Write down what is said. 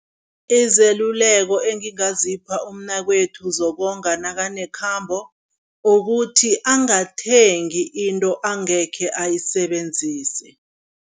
Izeluleko engingazipha umnakwethu zokonga nakanekhambo, ukuthi angathengi into angekhe ayisebenzise.